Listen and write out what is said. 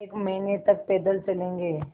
एक महीने तक पैदल चलेंगे